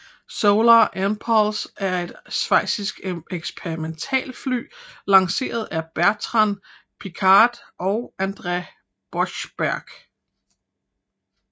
Solar Impulse er et schweizisk eksperimentalfly lanceret af Bertrand Piccard og André Borschberg